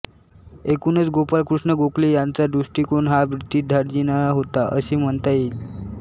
एकूणच गोपाळकृष्ण गोखले यांचा दृष्टिकोन हा ब्रिटिशधार्जिणा होता असे म्हणता येईल